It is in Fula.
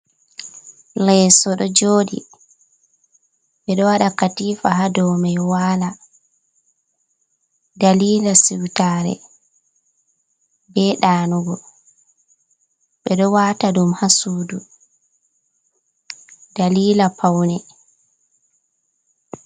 Leso ɗo jodi ɓe ɗo waɗa katifa ha ɗo mai wala dalila siwtare be ɗanugo ɓe ɗo wata ɗum ha sudu dalila paune.